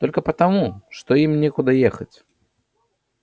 только потому что им некуда уехать